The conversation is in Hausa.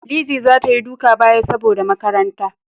Lizzy za ta Yi duka baya saboda makaranta.